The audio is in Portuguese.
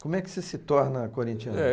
Como é que você se torna corinthiano?